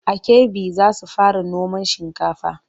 A Kebbi za su fara noman shinkafa.